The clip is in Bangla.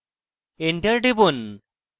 enter টিপুন